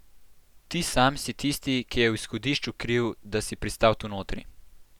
Ti sam si tisti, ki je v izhodišču kriv, da si pristal tu notri!